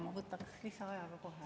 Ma võtaks lisaaja ka kohe.